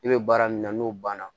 I bɛ baara min na n'o banna